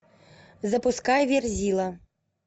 запускай верзила